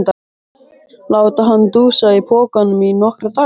Láta hann dúsa í pokanum í nokkra daga!